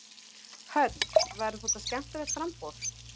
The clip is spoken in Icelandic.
Hödd: Verður þetta skemmtilegt framboð?